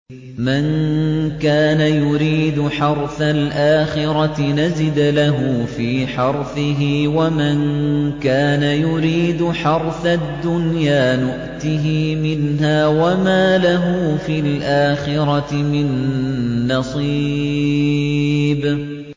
مَن كَانَ يُرِيدُ حَرْثَ الْآخِرَةِ نَزِدْ لَهُ فِي حَرْثِهِ ۖ وَمَن كَانَ يُرِيدُ حَرْثَ الدُّنْيَا نُؤْتِهِ مِنْهَا وَمَا لَهُ فِي الْآخِرَةِ مِن نَّصِيبٍ